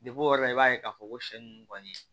o yɔrɔ la i b'a ye k'a fɔ ko sɛ ninnu kɔni